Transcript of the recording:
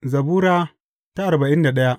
Zabura Sura arba'in da daya